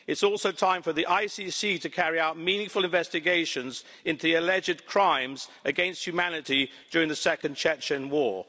It's also time for the ICC to carry out meaningful investigations into the alleged crimes against humanity during the second Chechen war.